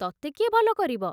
ତତେ କିଏ ଭଲ କରିବ